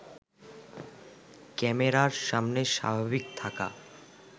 ক্যামেরার সামনে স্বাভাবিক থাকা